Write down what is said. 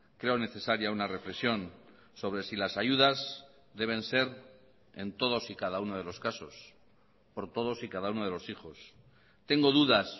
creo necesaria una reflexión sobre si las ayudas deben ser en todos y cada uno de los casos por todos y cada uno de los hijos tengo dudas